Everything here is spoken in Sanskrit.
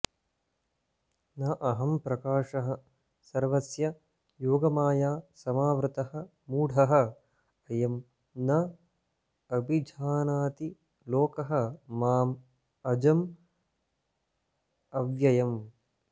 न अहं प्रकाशः सर्वस्य योगमाया समावृतः मूढः अयं न अभिजानाति लोकः माम् अजम् अव्ययम्